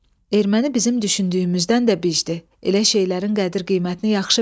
Erməni bizim düşündüyümüzdən də bişdi, elə şeylərin qədir-qiymətini yaxşı bilir.